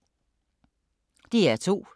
DR2